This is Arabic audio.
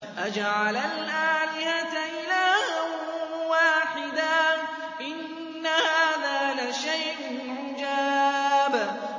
أَجَعَلَ الْآلِهَةَ إِلَٰهًا وَاحِدًا ۖ إِنَّ هَٰذَا لَشَيْءٌ عُجَابٌ